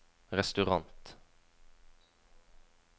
restaurant